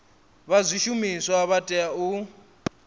vha zwishumiswa vha tea u